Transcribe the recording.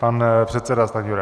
Pan předseda Stanjura.